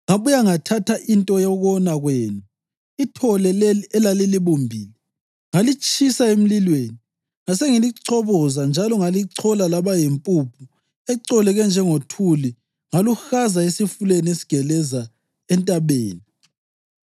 Ngabuye ngathatha into yokona kwenu, ithole leli elalilibumbile, ngalitshisa emlilweni. Ngasengilichoboza njalo ngalichola laba yimpuphu ecoleke njengothuli ngaluhaza esifuleni esigeleza entabeni.